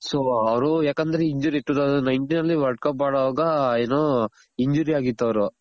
so ಅವ್ರು ಯಾಕಂದ್ರೆ injury two thousand nineteen ಅಲ್ಲಿ world cup ಆಡೋವಾಗ ಏನು injury ಆಗಿತ್ತು ಅವ್ರು